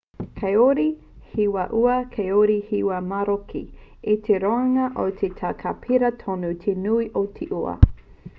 kāore he wā ua kāore he wā maroke i te roanga o te tau ka pērā tonu te nui o te ua